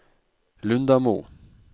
Lundamo